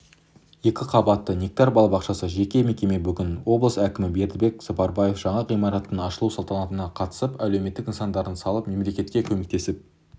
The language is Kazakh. екі қабатты нектар балабақшасы жеке мекеме бүгін облыс әкімі бердібек сапарбаев жаңа ғимараттың ашылу салтанатына қатысып әлеуметтік нысандарды салып мемлекетке көмектесіп